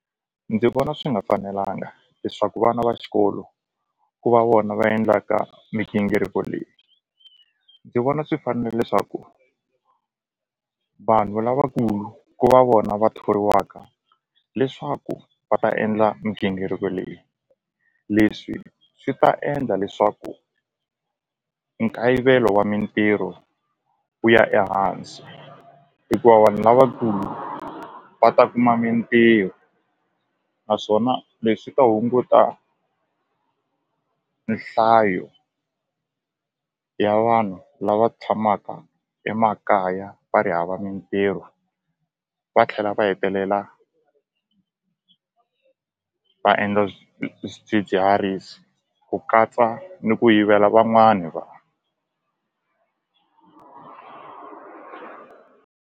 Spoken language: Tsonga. Ndzi vona swi nga fanelanga leswaku vana va xikolo ku va vona va endlaka migingiriko leyi ndzi vona swi leswaku vanhu lavakulu ku va vona va thoriwaka leswaku va ta endla migingiriko leyi leswi swi ta endla leswaku nkayivelo wa mintirho wu ya ehansi hikuva vanhu lavakulu va ta kuma mitirho naswona leswi ta hunguta nhlayo ya vanhu lava tshamaka emakaya va ri hava mitirho va tlhela va hetelela va endla swidzidziharisi ku katsa ni ku yivela van'wani .